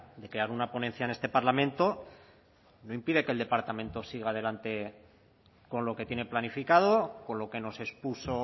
de crear una ponencia en este parlamento no impide que el departamento siga adelante con lo que tiene planificado con lo que nos expuso